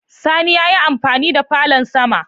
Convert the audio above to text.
Sani ya yi amfani da falon sama